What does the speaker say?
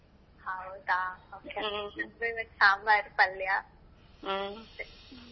ಹೌದಾ okay ಸಾಂಬಾರ ಪಲ್ಯ .